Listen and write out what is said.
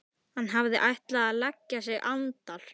Hann hafði ætlað að leggja sig andar